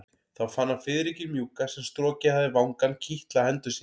Þá fann hann fiðringinn mjúka sem strokið hafði vangann kitla hendur sínar.